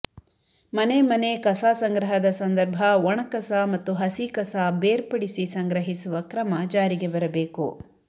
ಮನೆ ಮನೆ ಕಸ ಸಂಗ್ರಹದ ಸಂದರ್ಭ ಒಣ ಕಸ ಮತ್ತು ಹಸಿ ಕಸ ಬೇರ್ಪಡಿಸಿ ಸಂಗ್ರಹಿಸುವ ಕ್ರಮ ಜಾರಿಗೆ ಬರಬೇಕು